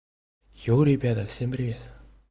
йоу ребята всем привет